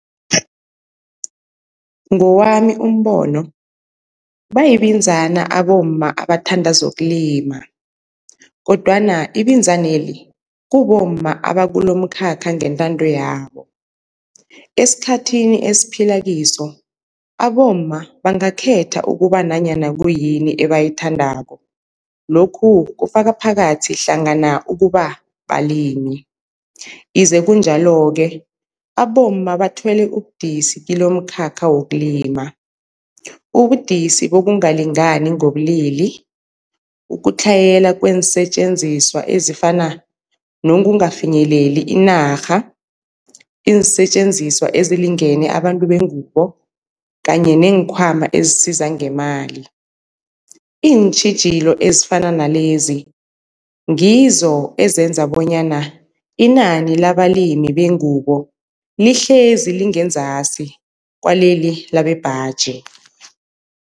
Ngowami umbono bayibinzana abomma abathanda zokulima, kodwana ibinzaneli kubomma abakulomkhakha ngentando yabo. Esikhathini esiphila kiso abomma bangakhetha ukuba nanyana kuyini ebayithandako, lokhu kufaka phakathi hlangana ukuba balimi, ize kunjalo-ke abomma bathwele ubudisi kilomkhakha wokulima, ubudisi bokungalingani ngobulili, ukutlhayela kweensetjenziswa ezifana nokungafinyeleli inarha, iinsetjenziswa ezilingene abantu bengubo kanye neenkhwama ezisiza ngemali. Iintjhijilo ezifana nalezi ngizo ezenza bonyana inani labalimi bengubo lihlezi lingenzasi kwaleli labembaji.